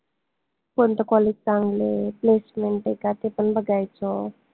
कोनत college चांगलंय? placement आय का ते पन बघायचं